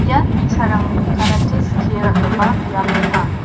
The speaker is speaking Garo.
ian bi·sarangni karate skie ra·gipa biap ong·a.